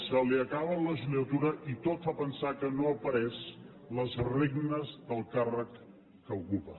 se li acaba la legislatura i tot fa pensar que no ha pres les regnes del càrrec que ocupa